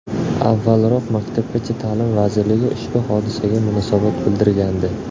Avvalroq Maktabgacha ta’lim vazirligi ushbu hodisaga munosabat bildirgandi .